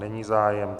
Není zájem.